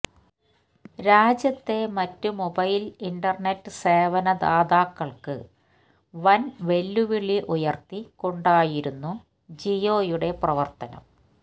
രാജ്യത്തെ മറ്റു mobile internet സേവന ദാതാക്കള്ക്ക് വന് വെല്ലുവിളി ഉയര്ത്തിക്കൊണ്ടായിരുന്നു ജിയോയുടെ പ്രവര്ത്തനം